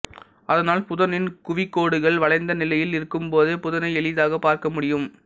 அதனால் புதனின் குவிகோடுகள் வளைந்த நிலையில் இருக்கும் போதே புதனை எளிதாக பார்க்க முடியும்